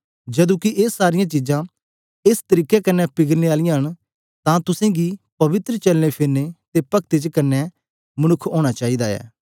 जदू कि ए सारी चीजें एस तरीके कन्ने पिघलने आली ऐ अते तुस गी पवित्र चलनाफिरने अते पक्ति च किन्ना मनुक्ख होना चाहे दा ऐ